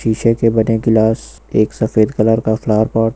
शीशे के बने गिलास एक सफेद कलर का फ्लॉवर पॉट --